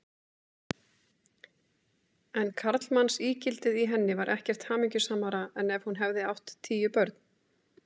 En karlmannsígildið í henni var ekkert hamingjusamara en ef hún hefði átt tíu börn.